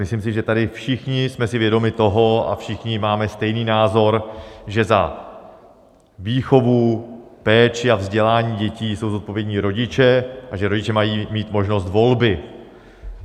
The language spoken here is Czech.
Myslím si, že tady všichni jsme si vědomi toho a všichni máme stejný názor, že za výchovu, péči a vzdělání dětí jsou zodpovědní rodiče a že rodiče mají mít možnost volby.